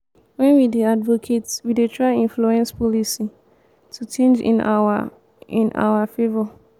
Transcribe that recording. when we dey advocate we de try influence policy to change in our in our favour